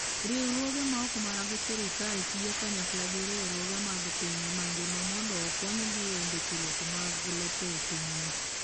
Riwruoge ma ok mag sirkal tiyo kanyakla gi riwruoge mag piny mangima mondo okonygi e ndikruok mag lope e pinyni.